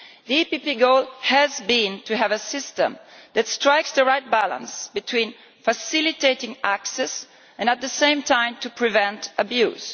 The PPE goal has been to have a system that strikes the right balance between facilitating access and, at the same time, preventing abuse.